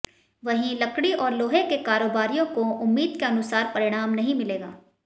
वहीं लकड़ी और लोहे के कारोबारियों को उम्मीद के अनुसार परिणाम नहीं मिलेगा